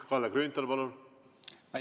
Kalle Grünthal, palun!